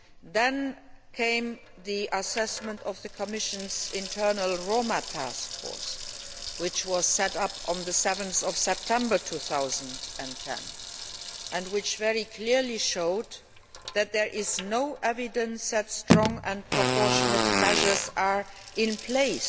Then came the assessment of the Commission's internal Roma Task Force, which was set up on 7 September 2010, and which very clearly showed that there is no evidence that strong and proportionate measures are in place